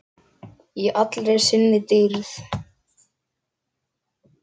Í allri sinni dýrð.